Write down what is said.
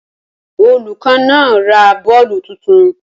Olùkọ́ náà ra bọ́ọ̀lù tuntun